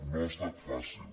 no ha estat fàcil